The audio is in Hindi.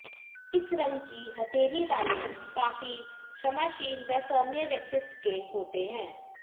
इस रंग की हथेली वाले काफी क्षमाशील व सौम्य व्यक्तित्व के होते हैं